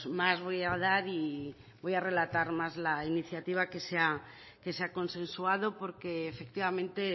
más voy a dar y voy a relatar más la iniciativa que se ha consensuado porque efectivamente